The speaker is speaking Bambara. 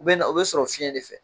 U bɛ na u bɛ sɔrɔ fiyɛ de fɛ.